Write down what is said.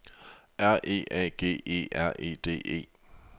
R E A G E R E D E